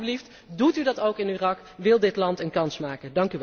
Alstublieft, doet u dat ook in Irak, wil dat land een kans maken!